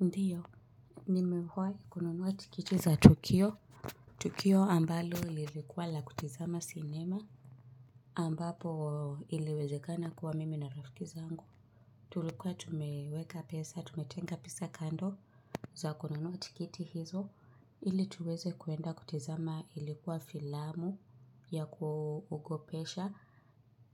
Ndiyo, nimewai kununua tikiti za tukio. Tukio ambalo lilikuwa la kutizama sinema. Ambapo iliwezekana kuwa mimi na rafiki zangu. Tulikuwa tumeweka pesa, tumetenga pesa kando za kununua tiketi hizo. Ili tuweze kuenda kutizama ilikuwa filamu ya kuogopesha.